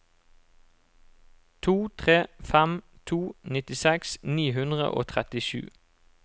to tre fem to nittiseks ni hundre og trettisju